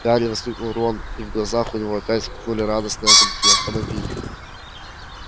гарри воскликнул рон и в глазах у него опять вспыхнули радостные огоньки автомобиль